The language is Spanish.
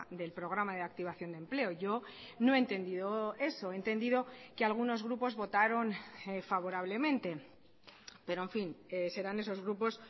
del programa de activación de empleo yo no he entendido eso he entendido que algunos grupos votaron favorablemente pero en fin serán esos grupos